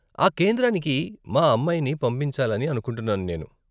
ఆ కేంద్రానికి మా అమ్మాయిని పంపించాలని అనుకుంటున్నాను నేను.